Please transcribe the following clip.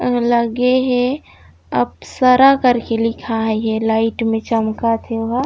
आऊ लगे हे अपशरा करके लिखाये हे लाइट में चमकत हे ओ ह--